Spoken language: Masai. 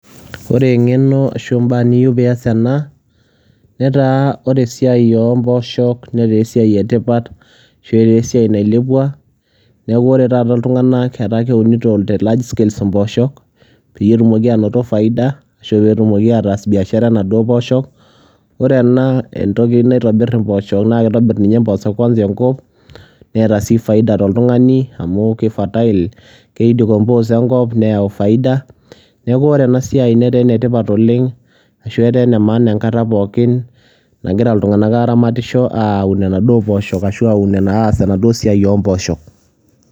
ore engeno ashu ebae niyieu pee ias ena, netaa ore esiai ompooshok netaa esiai etipat ashu etaa esiai nailepua neeku ore taata iltunganak, etaa ekunito te large scales impposho pee etumoki aanoto faida ashu pee etumoki ataas biashara onaduoo pooshok ore ena entoki naitobir inaduoo pooshho naa kitobir ninye mpoosho kuansa enkop. neta sii faida toltungani amu ki fertile ki decompose enkop neyau faida. neeku ore ena siai netaa ene tipat oleng ashu etaa ene maana enkata pookin nagira iltunganak aaramatisho, aun inaduo poosho ashu aas enaduo siai ompooshok.